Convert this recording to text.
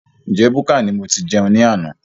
Njẹ búkà ní mo tí jẹun ni àna?